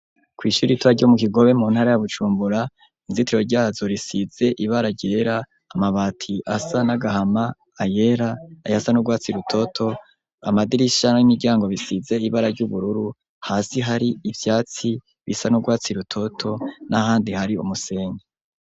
Kw'ishuri ritoya ryo mu Kigobe mu ntara ya Bujumbura, inzitiro ryazo risize ibara ryera, amabati asa n'agahama, ayera, ayasa n'urwatsi rutoto, amadirisha n'imiryango bisize ibara ry'ubururu, hasi hari ivyatsi, bisa n'urwatsi rutoto, n'ahandi hari umusenyi.